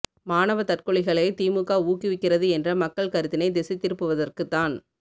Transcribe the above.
மாணவ தற்கொலைகளை திமுக ஊக்குவிக்கிறது என்ற மக்கள் கருத்தினை திசை திருப்புவதற்கு தான்